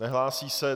Nehlásí se.